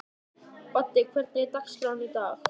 Baddi, hvernig er dagskráin í dag?